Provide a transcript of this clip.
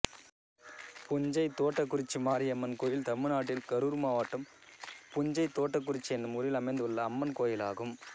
புஞ்சைதோட்டக்குறிச்சி மாரியம்மன் கோயில் தமிழ்நாட்டில் கரூர் மாவட்டம் புஞ்சைதோட்டக்குறிச்சி என்னும் ஊரில் அமைந்துள்ள அம்மன் கோயிலாகும்